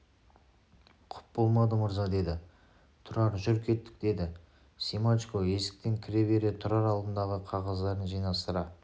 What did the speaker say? құп болады мырза деді тұрар жүр кеттік деді семашко есіктен кіре бере тұрар алдындағы қағаздарын жинастыра